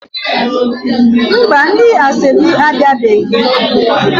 Mba, ndi asoebi abiabeghi